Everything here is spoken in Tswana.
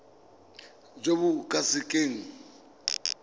jo bo ka se keng